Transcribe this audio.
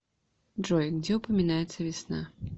джой где упоминается весна